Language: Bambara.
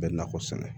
Bɛ nakɔ sɛnɛ